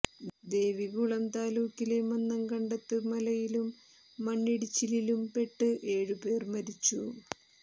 ദേവികുളം താലൂക്കിലെ മന്നംകണ്ടത്ത് മഴയിലും മണ്ണിടിച്ചിലിലും പെട്ട് ഏഴ് പേർ മരിച്ചു